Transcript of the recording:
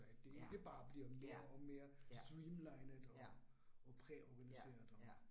Ja, ja, ja, ja, ja ja